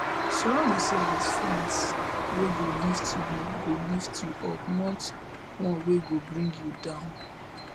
surround yourself with friends wey go lift you go lift you up not one wey go bring you down